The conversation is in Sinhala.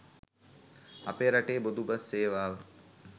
අපේ රටේ පොදු බස් සේවාව